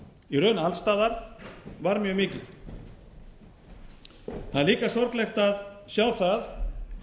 í raun alls staðar var mjög mikið það er líka sorglegt að sjá það